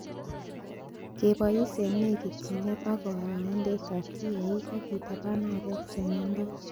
Kebois en nekityinet ak konyoindetab kiyaagik ak kitabaan aarek che miondos.